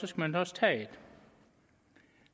skal man også tage det